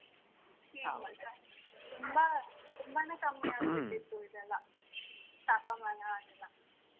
ತುಂಬಾ ತುಂಬಾನೆ ಕಮ್ಮಿ ಆಗ್ಬಿಟ್ಟಿತ್ತು ಇದೆಲ್ಲ ತಾಪಮಾನ ಅದೆಲ್ಲ.